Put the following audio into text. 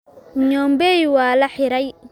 Nyombei waa la xiray